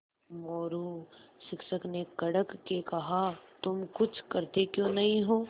मोरू शिक्षक ने कड़क के कहा तुम कुछ करते क्यों नहीं हो